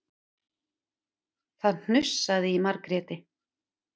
Það hnussaði í Margréti.